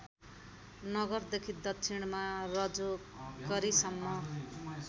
नगरदेखि दक्षिणमा रजोकरीसम्म